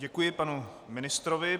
Děkuji panu ministrovi.